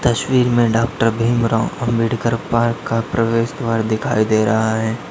तस्वीर में doctor Bhimrao Ambedkar park का प्रवेश द्वार दिखाई दे रहा है।